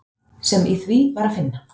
sem í því var að finna.